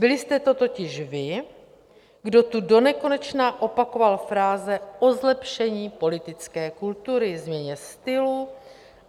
Byli jste to totiž vy, kdo tu donekonečna opakoval fráze o zlepšení politické kultury, změně stylu.